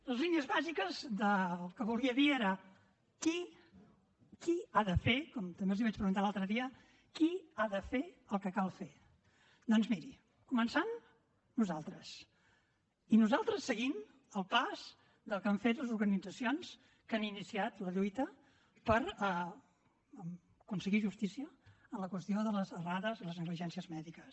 les línies bàsiques que volia dir era qui qui ha de fer com també els vaig preguntar l’altre dia el que cal fer doncs miri començant nosaltres i nosaltres seguim el pas del que han fet les organitzacions que han iniciat la lluita per aconseguir justícia en la qüestió de les errades i les negligències mèdiques